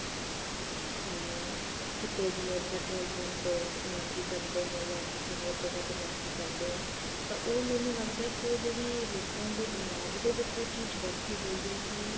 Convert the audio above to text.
ਅਮ ਕਿਤੇ ਜਿਵੇਂ petrol pump ਤੇ ਨੋਕਰੀ ਕਰਦੇ ਆਂ ਜਾ ਕਿਸੇ ਹੋਰ ਜਗ੍ਹਾ ਤੇ ਨੋਕਰੀ ਕਰਦੇ ਹਾਂ ਤਾਂ ਉਹ ਮੈਨੂੰ ਲੱਗਦਾ ਉਹ ਜਿਹੜੀ ਲੋਕਾਂ ਦੇ ਦਿਮਾਗ ਦੇ ਵਿੱਚ ਇਹ ਚੀਜ਼ ਬੈਠੀ ਹੋਈ ਹੈ ਕੀ